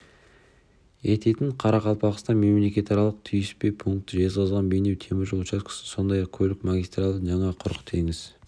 ететін қарақалпақстан мемлекетаралық түйіспе пункті жезқазған-бейнеу темір жол учаскесі сондай-ақ көлік магистралін жаңа құрық теңіз